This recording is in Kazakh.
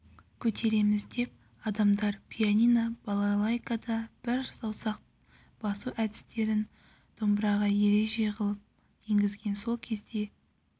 көтереміз деп адамдар пианино балалайкада бар саусақ басу әдістерін домбыраға ереже ғып енгізген сол кезде